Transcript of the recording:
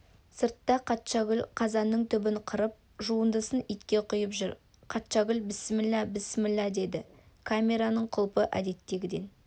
сыртта қатшагүл қазанның түбін қырып жуындысын итке құйып жүр қатшагүл бісміллә бісміллә деді камераның құлпы әдеттегіден